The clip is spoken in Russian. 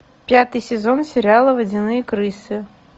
пятый сезон сериала водяные крысы